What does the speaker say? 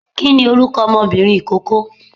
kìíni orúkọ ọmọbìnrin ikoko?